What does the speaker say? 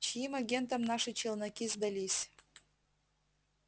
чьим агентам наши челноки сдались